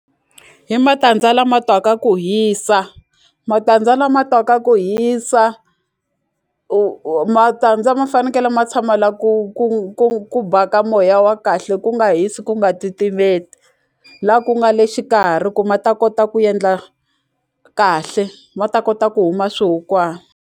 Hi matandza lama twaka ku hisa matandza lama twaka ku hisa matandza ma fanekele ma tshama la ku ku ku ku baka moya wa kahle ku nga hisi ku nga titimeli la ku nga le xikarhi ku ma ta kota ku endla kahle ma ta kota ku huma swihukwana.